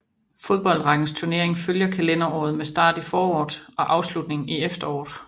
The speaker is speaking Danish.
Fodboldrækkens turnering følger kalenderåret med start i foråret og afslutning i efteråret